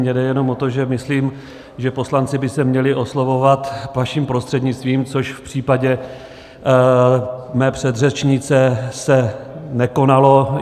Mně jde jenom o to, že myslím, že poslanci by se měli oslovovat vaším prostřednictvím, což v případě mé předřečnice se nekonalo.